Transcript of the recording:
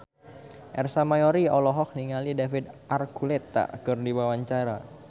Ersa Mayori olohok ningali David Archuletta keur diwawancara